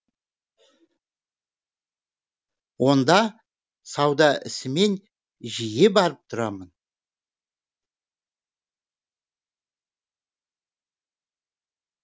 онда сауда ісімен жиі барып тұрамын